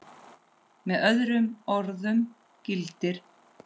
Með öðrum orðum gildir